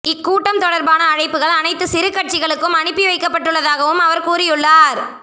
இக்கூட்டம் தொடர்பான அழைப்புகள் அனைத்து சிறு கட்சிகளுக்கும் அனுப்பி வைக்கப்பட்டுள்ளதாகவும் அவர் கூறியுள்ளார்